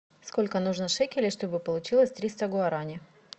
сколько нужно шекелей чтобы получилось триста гуарани